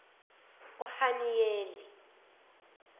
uhaniyeli